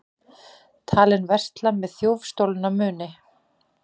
Talinn versla með þjófstolna muni